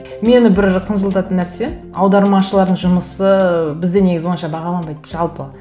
мені бір қынжылтатын нәрсе аудармашылардың жұмысы бізде негізі онша бағаланбайды жалпы